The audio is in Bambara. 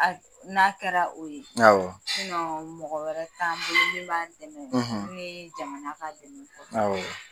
n'a kɛra o ye mɔgɔ wɛrɛ t'an bolo min b'an dɛmɛ ni jamana ka dɛmɛ tɛ awɔ.